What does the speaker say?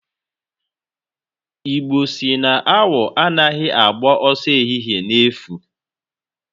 Igbo si na awọ anaghị agba ọsọ ehihe n'efu.